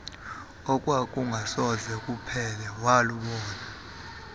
okwakungasoze kuphele walubona